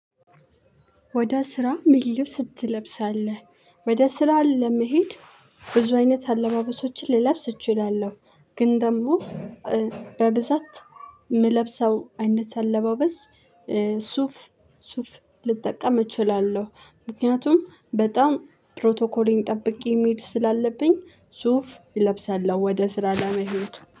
ወደ ስራ ምን ልብስ ትለብሳለህ? ወደ ስራ ለመሄድ ብዙ አይነት አለባበሶችን ልለብስ እችላለሁ ግን ደግሞ በብዛት የምለብሰው አይነት አለባበስ ሱፍ ሱፍ ልጠቀም እችላለሁ፤ ምክንያቱም በጣም ፕሮቶኮሌን ጠብቄ መሄድ ስላለብኝ ሱፍ እለብሳለሁ ወደ ስራ ለመሄድ